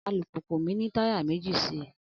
Alùpùpù mi ní táyà méjì sí i